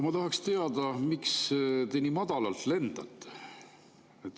Ma tahaks teada, miks te nii madalalt lendate.